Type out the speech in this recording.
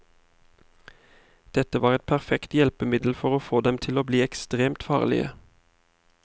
Dette var et perfekt hjelpemiddel for å få dem til å bli ekstremt farlige.